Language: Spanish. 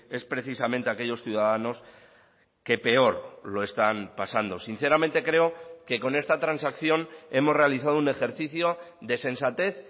es precisamente a aquellos ciudadanos que peor lo están pasando sinceramente creo que con esta transacción hemos realizado un ejercicio de sensatez